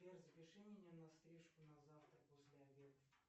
сбер запиши меня на стрижку на завтра после обеда